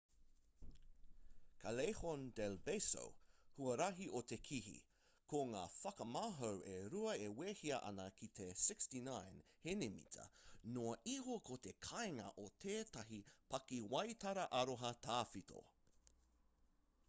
callejon del beso huarahi o te kihi. ko ngā whakamahau e rua e wehea ana ki te 69 henimita noa iho ko te kāinga o tētahi pakiwaitara aroha tawhito